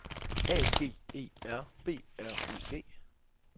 A G E R B R U G